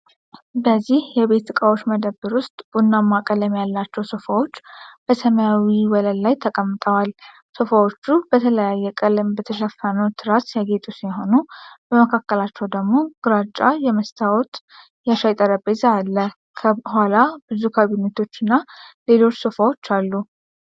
በዚህ የቤት ዕቃዎች መደብር ውስጥ፣ ቡናማ ቀለም ያላቸው ሶፋዎች በሰማያዊ ወለል ላይ ተቀምጠዋል። ሶፋዎቹ በተለያየ ቀለም በተሸፈኑ ትራስ ያጌጡ ሲሆኑ፣ በመሃላቸው ደግሞ ግራጫ የመስታወት የሻይ ጠረጴዛ አለ። ከኋላ ብዙ ካቢኔቶች እና ሌሎች ሶፋዎች አሉ።